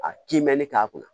A kinmɛni k'a kunna